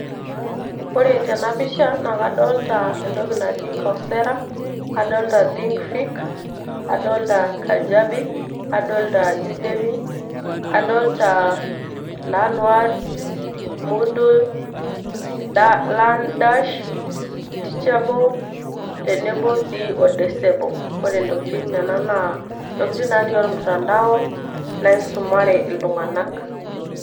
ore tena pisha naa kadolita entoki naji coursero, kadolita udemy, learndash, kadolita think fish, nadolita learnworld o teachable, nadolita kajabi, noodle tenebo sii o docebo. intokitin nena natii olmutantau naisumare iltunganak